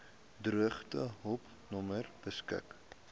droogtehulp nommer beskik